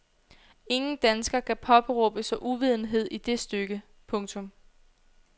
Ingen dansker kan påberåbe sig uvidenhed i det stykke. punktum